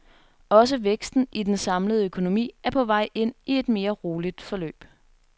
Også væksten i den samlede økonomi er på vej ind i et mere roligt forløb.